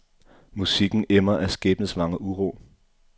Musikken emmer af skæbnesvanger uro.